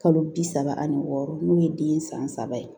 Kalo bi saba ani wɔɔrɔ n'o ye den san saba ye